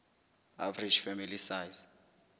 average family size